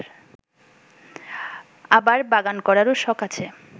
আবার বাগান করারও শখ আছে